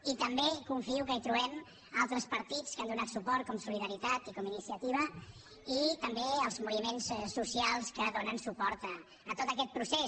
i també confio que hi trobem altres partits que hi han donat suport com solidaritat i com iniciativa i també els moviments socials que donen suport a tot aquest procés